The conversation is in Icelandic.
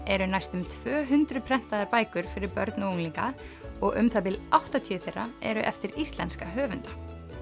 eru næstum tvö hundruð prentaðar bækur fyrir börn og unglinga og um það bil áttatíu þeirra eru eftir íslenska höfunda